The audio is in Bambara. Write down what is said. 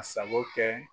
A sago kɛ